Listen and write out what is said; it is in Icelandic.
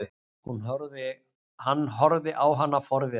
Hann horfði á hana forviða.